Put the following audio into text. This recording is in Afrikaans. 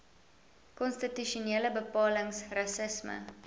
konstitusionele bepalings rassisme